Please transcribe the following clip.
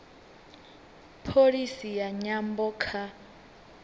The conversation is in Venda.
pholisi ya nyambo kha